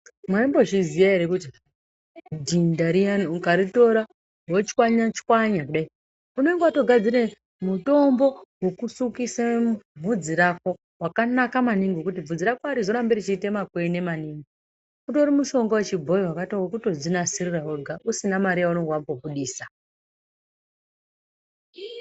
Maimbo zviziya ere kuti dhinda riyani ukaritora wochwanya chwanya kudai unenge watogadzira mutombo wekusukise vhudzi rako wakanaka maningi ngekuti vhudzi rako arizorambi richiita makwene maningi. Utori mutombo wechibhoyi wekutodzinasirira wega usina mari yawambobudisa.